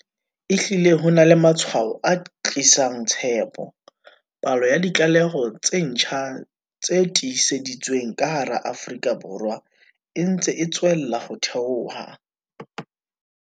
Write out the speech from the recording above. Ehlile ho na le matshwao a tlisang tshepo. Palo ya ditlaleho tse ntjha tse tiiseditsweng ka hara Afrika Borwa e ntse e tswella ho theoha.